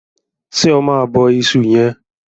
ṣe ọ Ma bó iṣu yen?